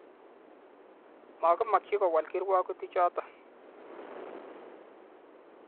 ma kemakyi kowol kirwagutichoto.